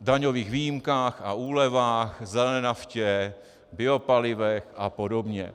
daňových výjimkách a úlevách, zelené naftě, biopalivech a podobně.